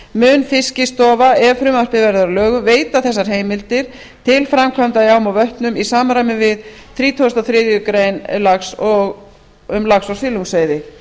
mun fiskistofa ef frumvarpið verður að lögum veita þessar heimildir til framkvæmda í ám og vötnum í samræmi við þrítugustu og þriðju grein laga um lax og silungsveiði